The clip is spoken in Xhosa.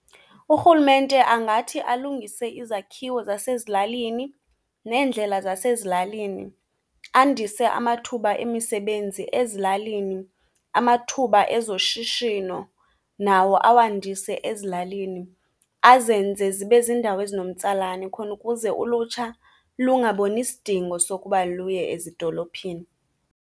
Urhulumente angathi alungise izakhiwo zasezilalini neendlela zasezilalini, andise amathuba emisebenzi ezilalini, amathuba ezoshishino nawo awandise ezilalini. Azenze zibe ziindawo ezinomtsalane, khona ukuze ulutsha lungaboni sidingo sokuba luye ezidolophini.